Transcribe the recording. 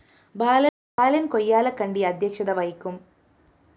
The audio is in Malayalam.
ബാലന്‍ കൊയ്യാലക്കണ്ടി അധ്യക്ഷത വഹിക്കും